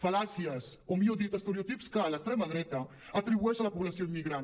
fal·làcies o millor dit estereotips que l’extrema dreta atribueix a la població immigrant